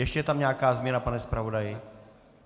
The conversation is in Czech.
Ještě je tam nějaká změna, pane zpravodaji?